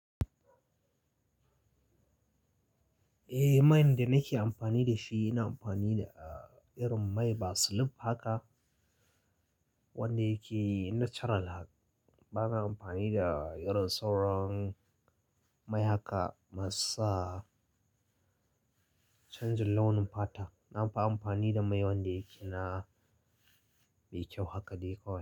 Eh, main da nake amfani da shi ina amfani da, ah, irin mai basilif haka wanda yake natural. Bana amfani da irin sauran mai haka ma su sa canjin launin fata. Na fi amfani da mai wanda yake na mai kyau haka dai kawai.